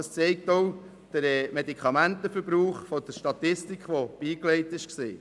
Das zeigt auch der Medikamentenverbrauch der Statistik, die beigelegt war.